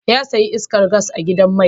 Ya saya iskar gas a gidan mai